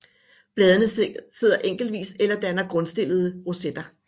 Bladene sidder enkeltvis eller danner grundstillede rosetter